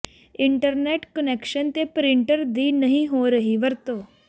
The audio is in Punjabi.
ਇੰਟਰਨੈਟ ਕੁਨੈਕਸ਼ਨ ਤੇ ਪ੍ਰਿੰਟਰ ਦੀ ਨਹੀਂ ਹੋ ਰਹੀ ਵਰਤੋਂ